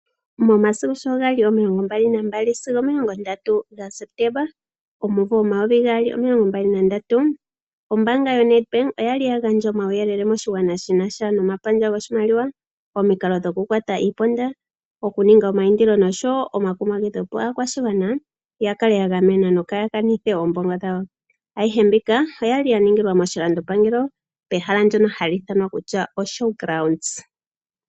Momasiku sho gali omilongo mbali nagaali sigo omilongo ndatu gaSepetemba, omumvo omayovi gaali omilongo mbali nandatu, ombaanga yaNEDBANK oyali ya gandja omauyelele moshigwana shina sha nomapandja goshimaliwa, omikalo dhoku kwata iiponda, okuninga omayindilo oshowo omakumamagidho opo aakwashigwana ya kale ya gamenwa yo kaa kanithe oombongo dhawo. Ayihe mbika oyali ya ningilwa moshilandopangelo, pehala ndjoka hali ithanwa ktuya oShowgrounds.